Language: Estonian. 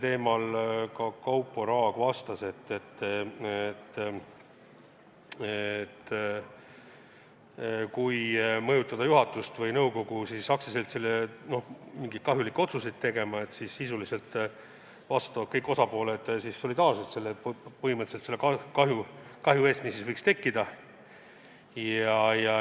Sellele Kaupo Raag vastas, et kui mõjutada juhatust või nõukogu aktsiaseltsile mingeid kahjulikke otsuseid tegema, siis põhimõtteliselt vastutavad kõik osapooled solidaarselt selle kahju eest, mis võiks tekkida.